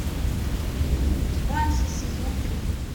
банши сезон три